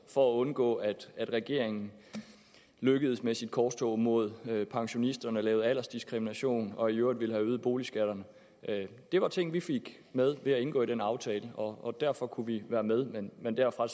for at undgå at regeringen lykkedes med sit korstog mod pensionisterne og lavede aldersdiskrimination og i øvrigt ville have øget boligskatterne det var ting vi fik med ved at indgå i den aftale og derfor kunne vi være med men men derfra